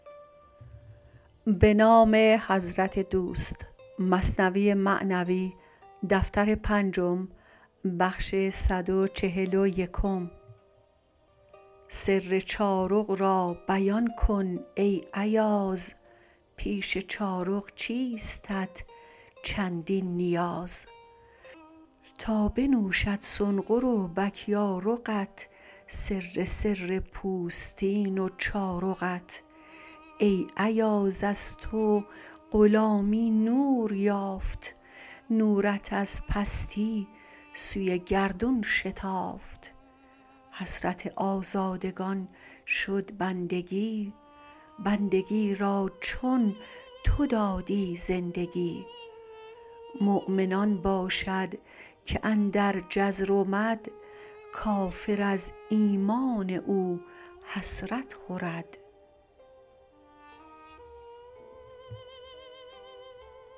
سر چارق را بیان کن ای ایاز پیش چارق چیستت چندین نیاز تا بنوشد سنقر و بک یا رقت سر سر پوستین و چارقت ای ایاز از تو غلامی نور یافت نورت از پستی سوی گردون شتافت حسرت آزادگان شد بندگی بندگی را چون تو دادی زندگی مؤمن آن باشد که اندر جزر و مد کافر از ایمان او حسرت خورد